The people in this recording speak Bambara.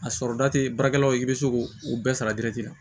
A sɔrɔ da tɛ baarakɛla ye i bɛ se k'o bɛɛ sara